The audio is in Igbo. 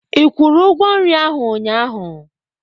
Ị kwụrụ ugwo nri ahụ unyaahu?